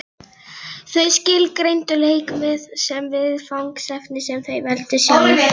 Þau skilgreindu leik sem viðfangsefni sem þau veldu sjálf.